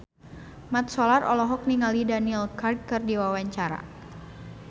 Mat Solar olohok ningali Daniel Craig keur diwawancara